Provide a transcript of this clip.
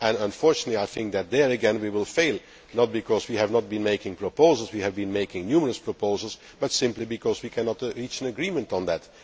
Unfortunately, I think that there again we will fail, not because we have not been making proposals we have been making numerous proposals but simply because we cannot reach an agreement on that.